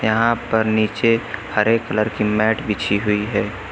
यहां पर नीचे हरे कलर की मैट बिछी हुई है।